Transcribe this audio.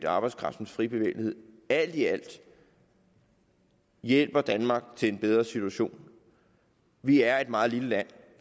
arbejdskraftens frie bevægelighed alt i alt hjælper danmark til en bedre situation vi er et meget lille land